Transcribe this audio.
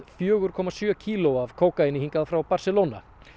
fjóra komma sjö kíló af kókaíni hingað frá Barcelona